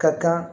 Ka kan